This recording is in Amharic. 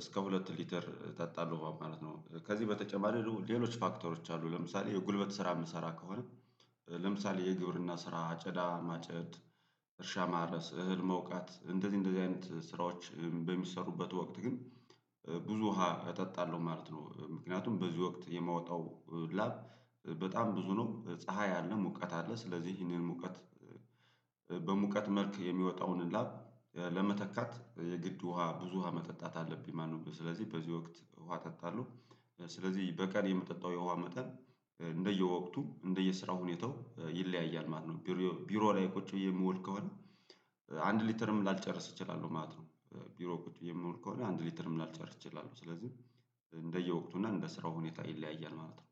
እስከ ሁለት ሊትር እጠጣለሁ ማለት ነው ከዚህ በተጨማሪ ሌሎች ፋክተሮች አሉ ለምሳሌ የጉልበት ስራ የምሰራ ከሆነ ለምሳሌ የግብርና ስራ አጨዳ ማጨድ እርሻ ማረስ እህል መውቃት እንደዚህ እንደዚህ አይነት ስራዎች በሚሰሩበት ወቅት ግን ብዙ ውሃ እጠጣለሁ ማለት ነው፤ ምክንያቱም በዚህ ወቅት የማወጣው ላብ በጣም ብዙ ነው ፀሀይ አለ ሙቀት አለ ስለዚህ ይሄንን ሙቀት በሙቀት መልክ የሚወጣውን ላብ ለመተካት የግድ ውሃ ብዙ ውሃ መጠጣት አለብኝ ማለት ነው ስለዚህ በዚህ ወቅት ውሃ እጠጣለሁ ስለዚህ በቀን የምጠጣው የውሃ መጠን እንደየወቅቱ እንደየስራው ሁኔታው ይለያያል ማለት ነው ቢሮ ቢሮ ላይ ቁጭ ብዬ የምወል ከሆነ አንድ ሊተርም ላልጨርስ እችላለሁ ማለት ነው ቢሮ ቁጭ ብዬ የምውል ከሆነ አንድ ሊተርም ላልጨርስ እችላለሁ ስለዚህ እንደየወቅቱ እና እንደ ስራው ሁኔታ ይለያያል ማለት ነው